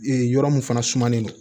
Ee yɔrɔ mun fana sumanen don